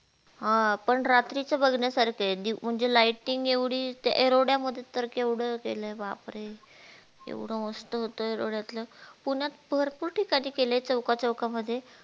हम्म पण रात्रीस बघण्यासारखं हे म्हणजे lighting एवढी एरोध्यामध्ये तर केवढ केल बापरे एवढ मस्त होत एरोध्यातल पुण्यात भरपूर ठिकाणी केलय चौका चौकामध्ये